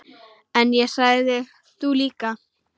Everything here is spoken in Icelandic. En ég sagði: Þú líka.